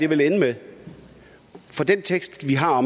vil ende med den tekst vi har